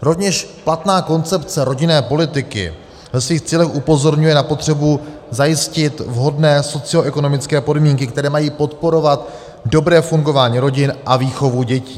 Rovněž platná koncepce rodinné politiky ve svých cílech upozorňuje na potřebu zajistit vhodné socioekonomické podmínky, které mají podporovat dobré fungování rodin a výchovu dětí.